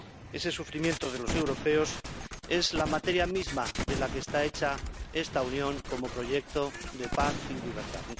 Ese sufrimiento de los europeos es la materia misma de la que está hecha esta Unión como proyecto de paz y libertad.